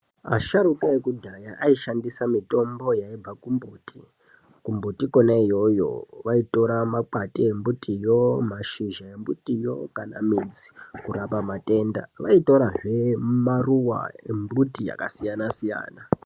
Asharuka ekudhaya aishandisa mitombo yaibva kumbuti. Kumbiti kona iyoyo vaitora makwati embutivo mashizha embutiyo kana midzi kurapa matenda. Vaitorazve maruva embuti yakasiyana-siyana.